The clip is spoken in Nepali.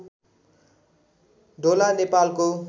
ढोला नेपालको